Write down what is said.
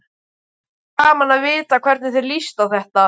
Þætti gaman að vita hvernig þér líst á þetta?